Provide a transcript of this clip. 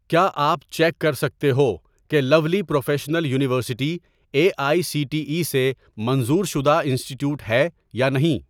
کیا آپ چیک کر سکتے ہو کہ Lovely Professional University A I C T E سے منظور شدہ انسٹی ٹییوٹ ہے یا نہیں؟